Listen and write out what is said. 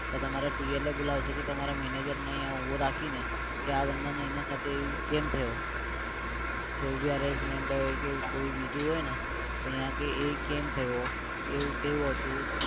તો તમારા બોલાવશે કે તમારા manager ને અઈયા ઉભો રાખીને કે આ બંદા ને એના સાથે એવું કેમ થયો કોઈ ભી arrangement હોય કે કોઈ બીજું હોય ને તો યા કે એ કેમ થયો એવું કેવું હતું?